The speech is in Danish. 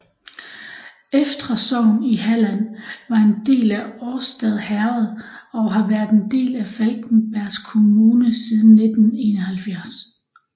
Eftra sogn i Halland var en del af Årstad herred og har været en del af Falkenbergs kommun siden 1971